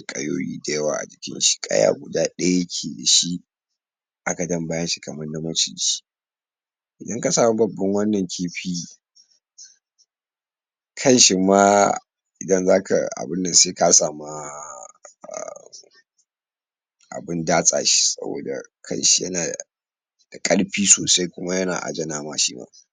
za'a ringa kula dasu dashi kanshi wannan warin dole asamu hanyan daza'a dinga kwardashi domin yana cutarwa ga al'umma nagode